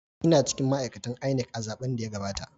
Ina cikin ma’aikatan INEC a zaben da ya gabata.